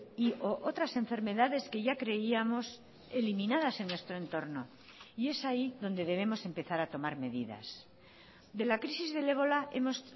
y o otras enfermedades que ya creíamos eliminadas en nuestro entorno y es ahí donde debemos empezar a tomar medidas de la crisis del ébola hemos